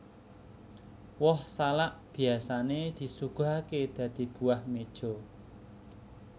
Woh salak biyasané disuguhaké dadi buah meja